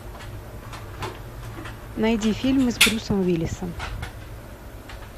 найди фильмы с брюсом уиллисом